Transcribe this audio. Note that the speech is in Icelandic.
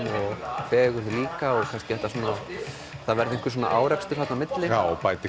fegurð líka og það verði einhver árekstur þarna á milli já bæti